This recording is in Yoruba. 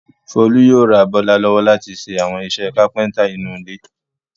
Folú yóò ra Bọ́lá lọ́wọ́ láti ṣe àwọn iṣẹ́ kápẹ́ńtà nínú ilé.